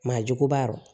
Maa juguba ɔrɔ